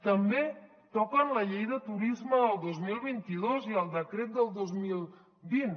també toquen la llei de turisme del dos mil vint dos i el decret del dos mil vint